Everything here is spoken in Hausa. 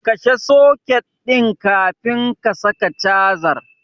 Kashe soket ɗin kafin ka saka cajar.